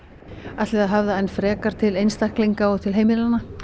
ætlið þið að höfða enn frekar til einstaklinga og til heimilanna